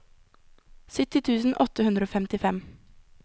sytti tusen åtte hundre og femtifem